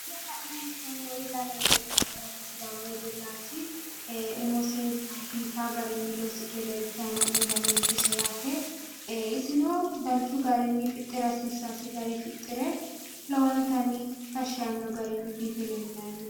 Kuri la'nanni hee'noommori sidaamu wedellati iseno dananchose biifisidhe isino dananchosi fixirenna biife leellanni no